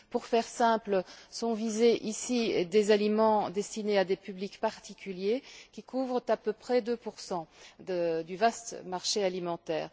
Pour faire simple, sont visés ici des aliments destinés à des publics particuliers qui couvrent à peu près 2 du vaste marché alimentaire.